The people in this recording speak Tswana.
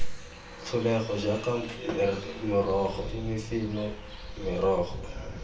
tlholego jaaka morogo imifino merogo